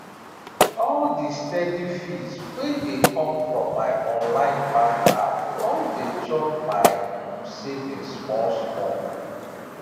all the steady fees wey dey come from my online bank app don dey chop my um savings small small